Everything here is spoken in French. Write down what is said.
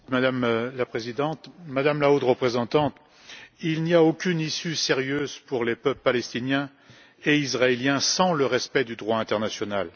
Madame la Présidente, Madame la Haute Représentante, il n'y a aucune issue sérieuse pour les peuples palestinien et israélien sans respect du droit international.